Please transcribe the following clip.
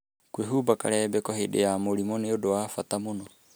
kwĩhumba karembeko hĩndĩ ya mũrimũ nĩ ũndũ wa bata mũno .